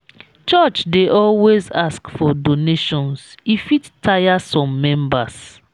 church dey always ask for donations e fit tire some members.